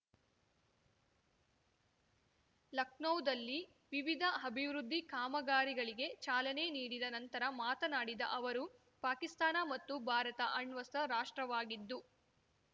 ಲಖನೌದಲ್ಲಿ ವಿವಿಧ ಅಭಿವೃದ್ಧಿ ಕಾಮಗಾರಿಗಳಿಗೆ ಚಾಲನೆ ನೀಡಿದ ನಂತರ ಮಾತನಾಡಿದ ಅವರು ಪಾಕಿಸ್ತಾನ ಮತ್ತು ಭಾರತ ಅಣ್ವಸ್ತ್ರ ರಾಷ್ಟ್ರವಾಗಿದ್ದು